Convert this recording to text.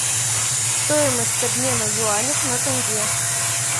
стоимость обмена юаней на тенге